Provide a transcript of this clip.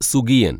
സുഗിയന്‍